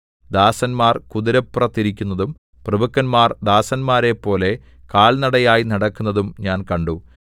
ദാസന്മാർ കുതിരപ്പുറത്തിരിക്കുന്നതും പ്രഭുക്കന്മാർ ദാസന്മാരെപ്പോലെ കാൽനടയായി നടക്കുന്നതും ഞാൻ കണ്ടു